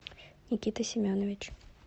никита семенович